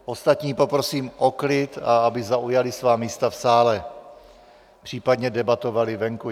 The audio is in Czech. Ostatní poprosím o klid, a aby zaujali svá místa v sále, případně debatovali venku.